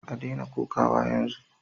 A daina kokawa yanzu